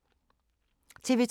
TV 2